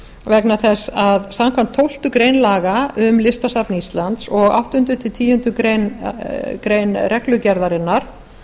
vegna þess að samkvæmt tólftu grein laga um listasafn íslands og áttunda tilsrik tíundu grein reglugerðarinnar